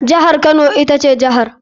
Jihar kano ita ce jihar.